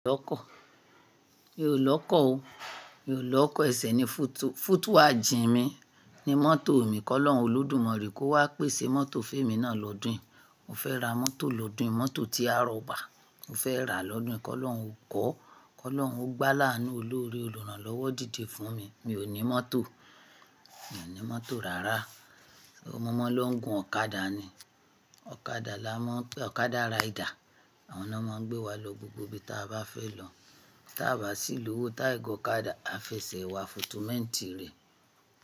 Mi ò lọ́kọ̀ o. Mi ò lọ́kọ̀ ẹsẹ̀ ní fútúù, fútúù à jìn mí ní mọ́tò mi. Kọ́lọ́nù Olódùmarè kó wá pèsè mọ́tò féèmi náà lọ́dún. Mo fẹ́ ra mọ́tò lọ́dún, mọ́tò tí a rọ̀ bà. Mo fẹ́ rà á lọ́dún. Kọ́lọ́rùn ó kọ́. Kọ́lọ́nrùn ó gbé láàánu olóre olùrànlọ́wọ́ dìde fún mi. Mi ò ní mọ́tò. Mi ò ní mọ́tò rárá. Mo maa lọ́ gún ọ̀kadà ni. Ọ̀kadà la má-- ọ̀kadà rider. Àwọn náà máa ń gbé wa lọ gbogbo ibi tí a bá fẹ́ lọ. Tí a bá sì lówó táì gọ ọ̀kadà, a fi ẹsẹ̀ wa fotomẹ́ǹtì rẹ̀.